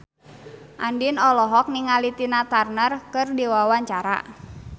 Andien olohok ningali Tina Turner keur diwawancara